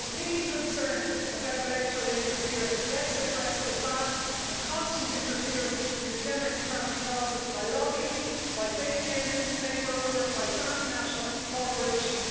If we're really concerned about electoral interference, let's address the vast and constant interference in the democratic process by lobbyists, by billionaire newspaper owners, by transnational corporations.